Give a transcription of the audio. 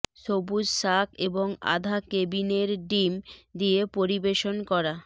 সবুজ শাক এবং আধা কেবিনের ডিম দিয়ে পরিবেশন করা